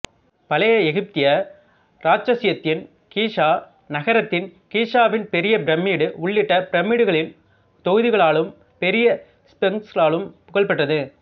பழைய எகிப்திய இராச்சியத்தின் கீசா நகரத்தின் கிசாவின் பெரிய பிரமிடு உள்ளிட்ட பிரமிடுகளின் தொகுதிகளாலும் பெரிய ஸ்பிங்ஸ்களாலும் புகழ்பெற்றது